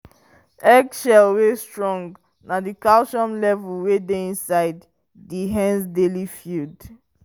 eggshell wey strong na the calcium level wey dey inside the hen's daily feed.